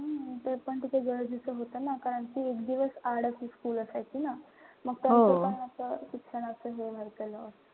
हम्म तेपण तर गरजेचं होत ना. कारण कि एक दिवस आड अशी school असायची ना. शिक्षणाचं हे झालं.